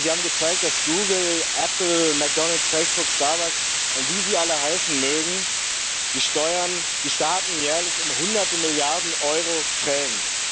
Denn sie haben gezeigt, dass Google, Apple, McDonalds, Facebook, Starbucks und wie sie alle heißen mögen die Staaten jährlich um hunderte Milliarden Euro prellen.